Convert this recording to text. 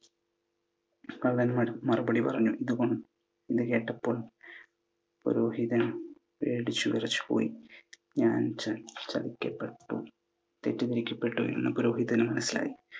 കള്ളന്മാർ മറുപടി പറഞ്ഞു. ഇത് കേട്ടപ്പോൾ പുരോഹിതൻ പേടിച്ചു വിറച്ചു പോയി. ഞാൻ ചതിക്കപ്പെട്ടു. തെറ്റിദ്ധരിക്കപ്പെട്ടു എന്ന് പുരോഹിതന് മനസ്സിലായി.